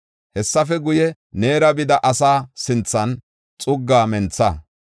“Hessafe guye, neera bida asaa sinthan xuggaa mentha.